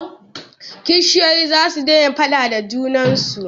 Kishiyoyi za su daina faaɗa da junan su.